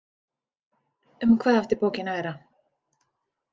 Um hvað átti bókin að vera?